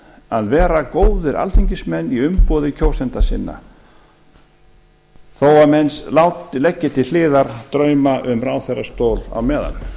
að vera góðir alþingismenn í umboði kjósenda sinna þó menn leggi til hliðar drauma um ráðherrastól á meðan